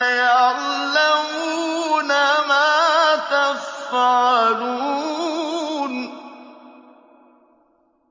يَعْلَمُونَ مَا تَفْعَلُونَ